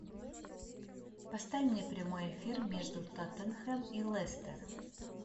поставь мне прямой эфир между тоттенхэм и лестер